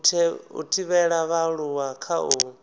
u thivhela vhaaluwa kha u